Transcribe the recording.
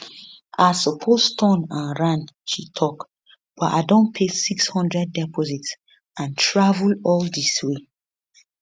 i suppose turn and ran she tok but i don pay 600 deposit and travel all dis way